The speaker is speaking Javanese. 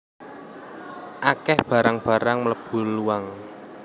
Akeh barang barang mlebu luang